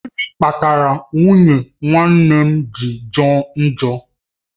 Gịnị kpatara nwunye nwanne m ji jọ njọ?